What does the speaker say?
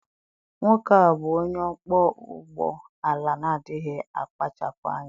Nwoke a bụ onye ọkpọ ụgbọ ala na adịghị akpachapụ anya.